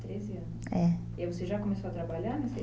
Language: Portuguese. treze anos? É. E aí você já começou a trabalhar